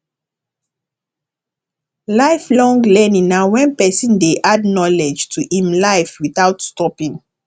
lifelong learning na when person dey add knowledge to im life without stopping